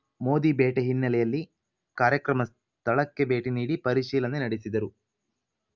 ಮೋದಿ ಭೇಟೆ ಹಿನ್ನೆಲೆಯಲ್ಲಿ ಕಾರ್ಯಕ್ರಮ ಸ್ಥಳಕ್ಕೆ ಭೇಟಿ ನೀಡಿ ಪರಿಶೀಲನೆ ನಡೆಸಿದರು